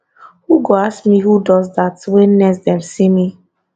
who go ask me who does dat wen next dem see me